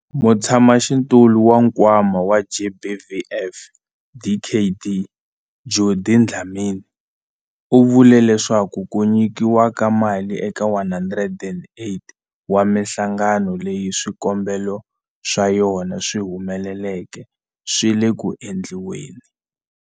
Mutshamaxitulu wa Nkwama wa GBVF, Dkd Judy Dlamini, u vule leswaku ku nyikiwa ka mali eka 108 wa mihlangano leyi swikombelo swa yona swi humeleleke swi le ku endliweni.